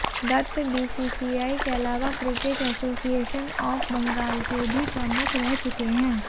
Dutt BCCI के अलावा cricket association of Bengal के भी प्रमुख रह चुके हैं